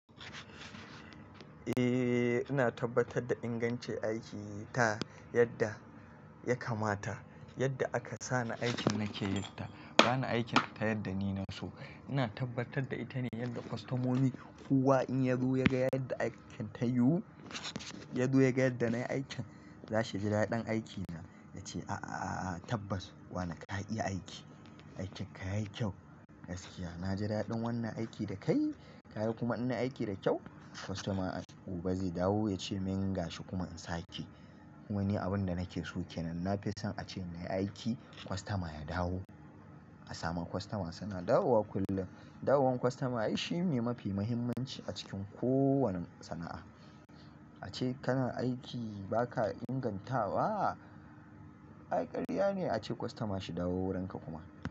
Eh ina tabbatar da ingancin aikin ta yadda ya kamata. Yadda aka sa ni aikin nake yin ta. Ba ni aikin ta yadda ni na so. Ina tabbatar da ita ne yadda kwastomoni kowa in ya zo ya ga yadda aikin ta yiwu, ya zo ya ga yadda na yi aikin, za su ji daɗin aikina. Ya ce, "A'a, a'a, a'a tabbas wana ka iya aiki. Aikin ka yayi kyau, gaskiya." Na ji daɗin wannan aiki da kai. Ka yi kuma inna aiki da kyau. Kwastoma gobe zai dawo ya ce min ya gashi kuma in sa ke. Kuma ni abin da nake so ke nan. Na fi son a ce na yi aiki kwastoma ya dawo. A sama kwastoma suna dawowa kullum. Dawowan kwastoma ai shi ne mafi muhimmanci a cikin kowane sana'a. A ce kana aiki ba ka ingantawa, ai ƙarya ne a ce kwastoma shi dawo wurinka kuma.